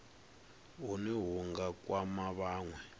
hune hu nga kwama vhanwe